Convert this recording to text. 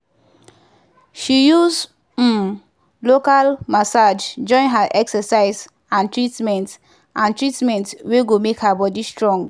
she use um local massage join her excercise and treatment and treatment wey go make her body strong.